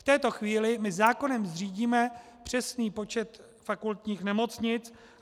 V této chvíli my zákonem zřídíme přesný počet fakultních nemocnic.